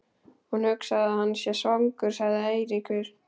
Ég hugsa að hann sé svangur sagði Eiríkur.